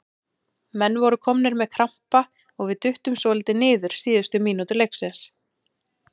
Menn voru komnir með krampa og við duttum svolítið niður síðustu mínútur leiksins.